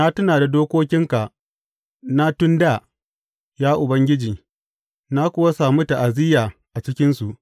Na tuna da dokokinka na tun dā, ya Ubangiji, na kuwa sami ta’aziyya a cikinsu.